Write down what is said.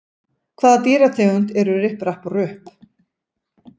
Hvaða dýrategund eru Ripp, Rapp og Rupp?